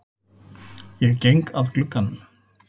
Ég geng að glugganum.